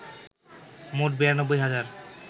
মোট ৯২ হাজার